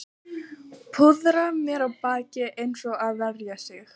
Púðra á mér bakið eins og að verja sig